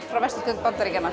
frá vesturströnd Bandaríkjanna